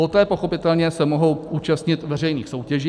Poté pochopitelně se mohou účastnit veřejných soutěží.